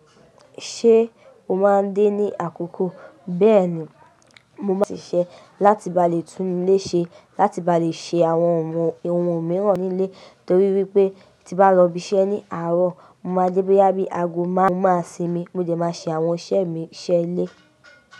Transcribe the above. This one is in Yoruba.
Ṣé o máa ń dé ní àkókò? Bẹ́ẹ̀ni, mo máa ṣiṣẹ́ láti ba lè tún ilé ṣe, láti ba lè ṣe àwọn ohun èèwọ̀ mìíràn nílé torí wípé tí bá lọ ibiṣẹ́ ní àárọ̀, mo máa jẹ́ pé yá bí ago máa ń sinmi, mo jẹ máa ṣe àwọn iṣẹ́ mi iṣẹ́ ilé.